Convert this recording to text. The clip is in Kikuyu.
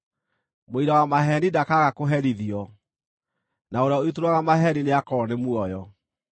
Mũira wa maheeni ndakaaga kũherithio, na ũrĩa ũitũrũraga maheeni nĩakoorwo nĩ muoyo.